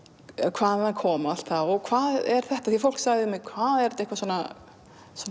hvaðan það kom og allt það og hvað er þetta því fólk sagði við mig hvað er þetta eitthvað svona